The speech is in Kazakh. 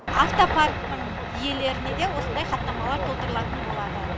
автопарктың иелеріне де осындай хаттамалар толтырылатын болады